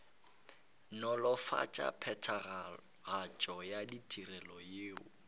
nolofatša phethagatšo ya ditirelo yeo